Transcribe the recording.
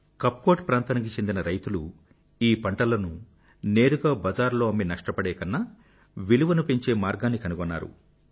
కప్కోట్ ప్రాంతానికి చెందిన రైతులు ఈ పంటలను నేరుగా బజారులో అమ్మి నష్టపడేకన్నా విలువ పెంచే ధర పెరుగుదల మార్గాన్ని కనుగొన్నారు